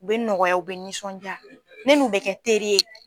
U bɛ nɔgɔya u bɛ nisɔnjaa ne n'u bɛ kɛ teri ye.